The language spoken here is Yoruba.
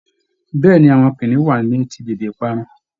Bẹẹni, Awọn kiniun wa ni eti bebe ìparun.